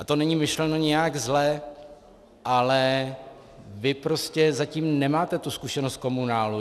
A to není myšleno nijak zle, ale vy prostě zatím nemáte tu zkušenost z komunálu.